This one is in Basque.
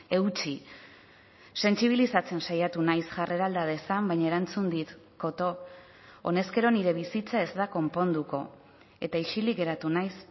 eutsi sentsibilizatzen saiatu naiz jarrera alda dezan baina erantzun dit koto honezkero nire bizitza ez da konponduko eta isilik geratu naiz